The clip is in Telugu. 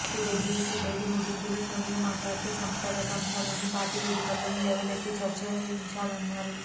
సీడబ్యుసీ భేటీ ముగింపులో సోనియా మాట్లాడుతూ సంస్థాగత అంశాల్ని పార్టీ వేదికల్లోనే లేవనెత్తి చర్చించాలన్నారు